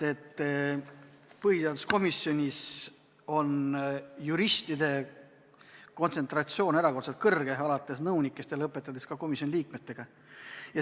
Põhiseaduskomisjonis on juristide kontsentratsioon erakordselt suur, alates nõunikest ja lõpetades komisjoni liikmetega.